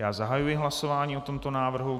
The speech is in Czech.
Já zahajuji hlasování o tomto návrhu.